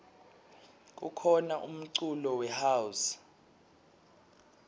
kukhona umculo we house